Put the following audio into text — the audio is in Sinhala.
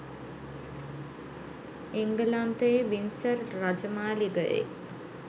එන්ගලන්තයේ වින්සර් රජමාලිගයේ